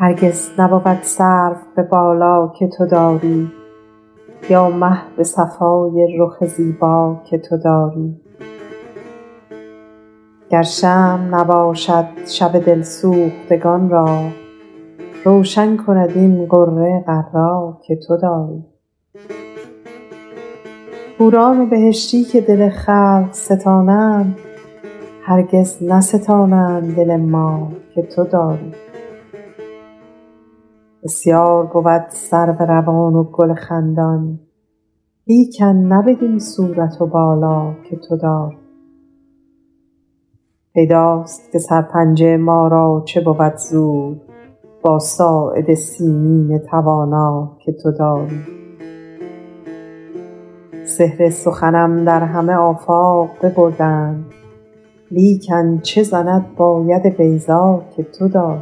هرگز نبود سرو به بالا که تو داری یا مه به صفای رخ زیبا که تو داری گر شمع نباشد شب دل سوختگان را روشن کند این غره غر‍ ا که تو داری حوران بهشتی که دل خلق ستانند هرگز نستانند دل ما که تو داری بسیار بود سرو روان و گل خندان لیکن نه بدین صورت و بالا که تو داری پیداست که سرپنجه ما را چه بود زور با ساعد سیمین توانا که تو داری سحر سخنم در همه آفاق ببردند لیکن چه زند با ید بیضا که تو داری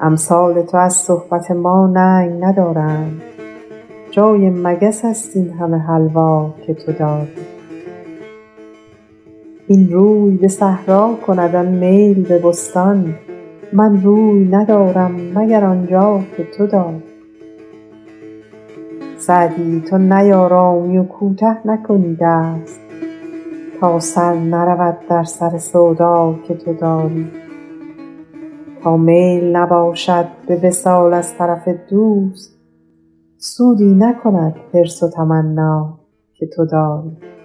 امثال تو از صحبت ما ننگ ندارند جای مگس است این همه حلوا که تو داری این روی به صحرا کند آن میل به بستان من روی ندارم مگر آن جا که تو داری سعدی تو نیآرامی و کوته نکنی دست تا سر نرود در سر سودا که تو داری تا میل نباشد به وصال از طرف دوست سودی نکند حرص و تمنا که تو داری